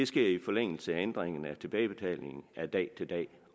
sker i forlængelse af ændringen af tilbagebetalingen af dag til dag